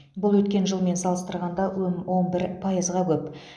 бұл өткен жылмен салыстырғанда өн он бір пайызға көп